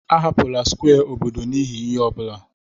Ahapụla square obodo n'ihi ihe ọ bụla!